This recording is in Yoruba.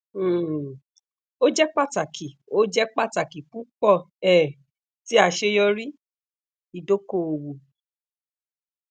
um o jẹ pataki o jẹ pataki pupọ um ti aṣeyọri idokoowo